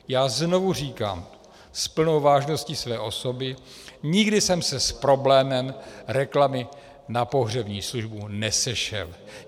Já znovu říkám s plnou vážností své osoby, nikdy jsem se s problémem reklamy na pohřební službu nesešel.